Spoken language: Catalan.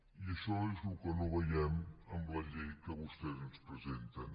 i això és el que no veiem en la llei que vostès ens presenten